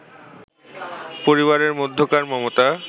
পরিবারের মধ্যকার মমতা